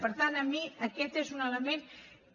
per tant a mi aquest és un element que